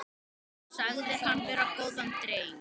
Sagðir hann vera góðan dreng.